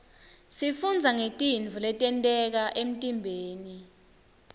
sifundza ngetintfo letenteka emtimbeni